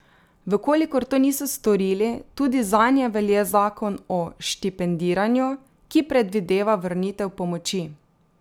V kolikor to niso storili, tudi zanje velja Zakon o štipendiranju, ki predvideva vrnitev pomoči.